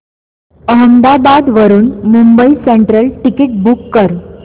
अहमदाबाद वरून Mumbai central ticket book कर